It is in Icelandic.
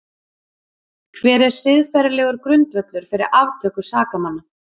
Hver er siðferðilegur grundvöllur fyrir aftöku sakamanna?